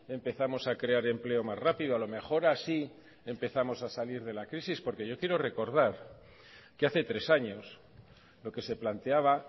empezamos a crear empleo más rápido a lo mejor así empezamos a salir de la crisis porque yo quiero recordar que hace tres años lo que se planteaba